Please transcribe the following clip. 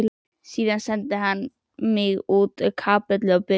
Síðan sendi hann mig út í kapellu að biðja.